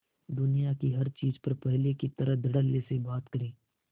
दुनिया की हर चीज पर पहले की तरह धडल्ले से बात करे